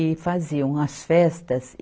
e faziam as festas.